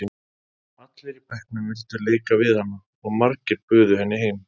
Allir í bekknum vildu leika við hana og margir buðu henni heim.